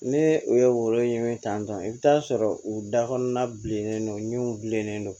Ne u ye woro ɲini tan tɔ i bɛ t'a sɔrɔ u da kɔnɔna bilennen don u ɲɛw bilennen don